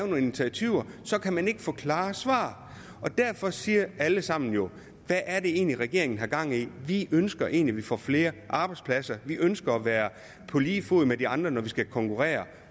nogle initiativer kan man ikke få klare svar og derfor siger alle sammen jo hvad er det egentlig regeringen har gang i vi ønsker egentlig at vi får flere arbejdspladser vi ønsker at være på lige fod med de andre når vi skal konkurrere